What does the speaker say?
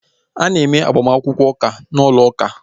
A na-eme agbamakwụkwọ ụka n'ụlọ uka